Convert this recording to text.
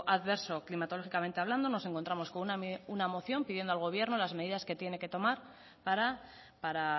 adverso climatológicamente hablando nos encontramos con una moción pidiendo al gobierno las medidas que tiene que tomar para